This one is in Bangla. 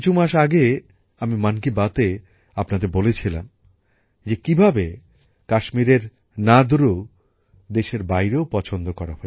কিছু মাস আগে আমি মন কি বাতে আপনাদের বলেছিলাম যে কিভাবে কাশ্মীরের নাদরু দেশের বাইরেও আলোচিত